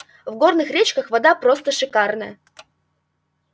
в горных речках вода просто шикарная